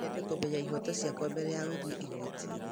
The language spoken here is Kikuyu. No nyende kũmenya ihooto ciakwa mbere ya gũthiĩ igoti-inĩ